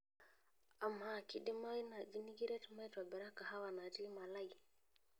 amaa kidimayu naaji nikiret maitobira kahawa natii malai